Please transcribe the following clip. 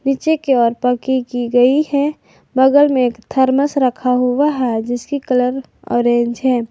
पीछे की ओर पक्की की गई है बगल में थरमस रखा हुआ है जिसकी कलर ऑरेंज है।